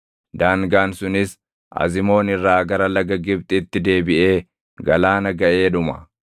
Daangaan sunis Azimoon irraa gara laga Gibxitti deebiʼee galaana gaʼee dhuma.